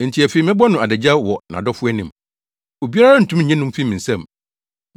Enti afei mɛbɔ no adagyaw wɔ nʼadɔfo anim; obiara rentumi nnye no mfi me nsam.